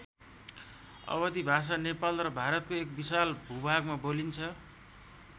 अवधि भाषा नेपाल र भारतको एक विशाल भूभागमा बोलिन्छ।